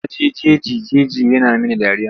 Na jeji jeji yana mini dariya.